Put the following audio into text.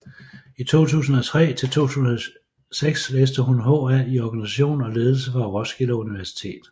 Fra 2003 til 2006 læste hun HA i organisation og ledelse fra Roskilde Universitet